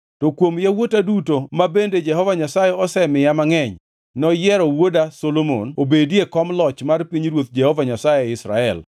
To kuom yawuota duto ma bende Jehova Nyasaye osemiya mangʼeny, noyiero wuoda Solomon mondo obedi e kom loch mar pinyruodh Jehova Nyasaye e Israel.